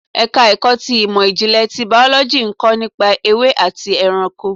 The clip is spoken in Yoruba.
Ẹ̀ka ẹ̀kọ́ ti ìmò ìjìnlẹ̀ tí Bàọ́lọ́jì ń kọ́ nípa ewé àti ẹranko.